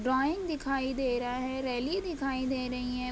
Drawing दिखाई दे रहा है । रेलिंग दिखाई दे रही है ।